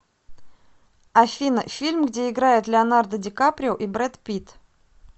афина фильм где играет леонардо ди каприо и бред питт